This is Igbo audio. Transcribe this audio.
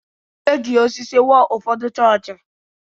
E ji osisi wuo ụfọdụ chọọchị.